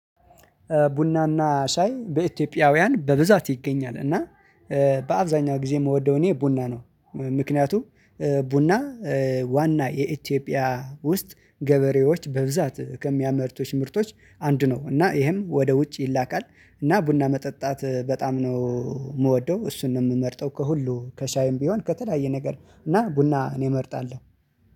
ቡናና ሻይ በኢትዮጵያውያን በብዛት ይገኛ። እና በአብዛኛው ጊዜ የምወደው እኔ ቡና ነው። ምክንያቱም ቡና ዋና የኢትዮጵያ ውስጥ ገበሬዎች በብዛት ከሚያመርቶች ምርቶች አንድ ነው። እና ይሄም ወደ ውጭ ይላካል። እና ቡና መጠጣት በጣም ነው የምወደው። እሱንም የምመርጠው ከሁሉ ከሻይም ቢሆን ከተለያየ ነገር እና ቡና እኔ እመርጣለሁ።